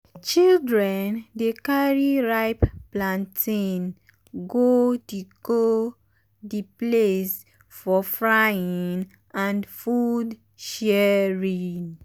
children dey carry ripe plantain go the go the place for frying and food sharing.